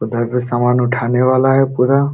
उधर पे सामान उठाने वाला है पुरा।